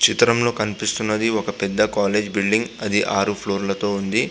చిత్రంలో కనిపిస్తున్నది ఒక పెద్ద కాలేజ్ బిల్డింగ్ అది ఆరు ఫ్లోర్ లతో ఉంది.